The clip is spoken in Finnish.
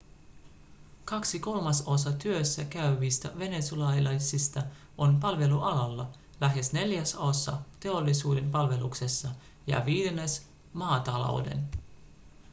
kaksi kolmasosaa työssä käyvistä venezuelalaisista on palvelualalla lähes neljäsosa teollisuuden palveluksessa ja viidennes maatalouden